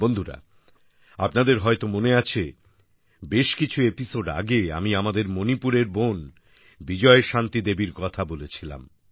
বন্ধুরা আপনাদের হয়তো মনে আছে বেশ কিছু এপিসোড আগে আমি আমাদের মণিপুরের বোন বিজয়শান্তি দেবীর কথা বলেছিলাম